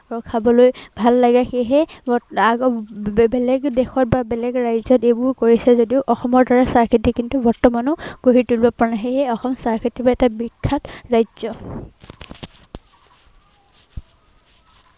আৰু খাবলৈ ভাল লাগে সেয়েহে, এৰ আহ বেবেলেগ দেশত বেলেগ ৰাজ্য়ত এইবোৰ কৰিছে যদিও অসমৰ দৰে চাহ খেতি কিন্তু বৰ্তমানেও গঢ়ি তুলিব পৰা নাই। সেয়েহে অসম চাহ খেতিৰ বাবে এটা বিখ্যাত ৰাজ্য়।